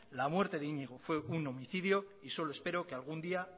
la muerte de iñigo fue un homicidio y solo espero que algún día